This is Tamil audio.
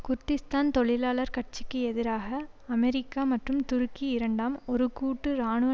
குர்திஷ்தான் தொழிலாளர் கட்சிக்கு எதிராக அமெரிக்கா மற்றும் துருக்கி இரண்டாம் ஒரு கூட்டு இராணுவ